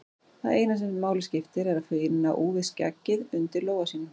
Það eina sem máli skiptir er að finna úfið skeggið undir lófa sínum.